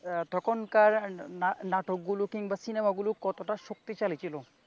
তখনকার নানাটকগুলো কিংবা সিনেমাগুলো কতটা শক্তিশালী ছিল।